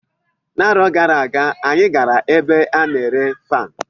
Arọ gara aga, anyị gara ebe a na-ere faanụ.